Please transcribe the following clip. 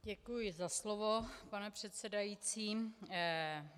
Děkuji za slovo, pane předsedající.